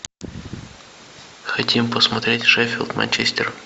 хотим посмотреть шеффилд манчестер